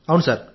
అవును సార్